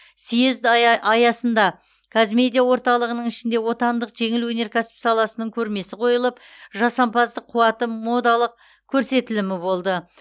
съезд ая аясында қазмедиа орталығының ішінде отандық жеңіл өнеркәсіп саласының көрмесі қойылып жасампаздық қуаты модалық көрсетілімі болды